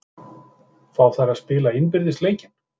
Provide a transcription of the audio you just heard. Fá þær að spila innbyrðis leikinn?